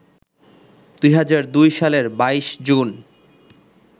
২০০২ সালের ২২ জুন